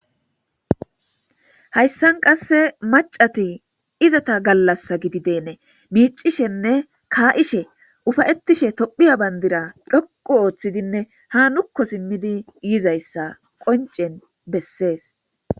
Hayssan qasse macati izata gallassa gidideene miicishenne kaa'ishe ufayetishe tophiya bandira dhoqu ooththidinne ha nukko simmidi yizayssa qoncen bessees.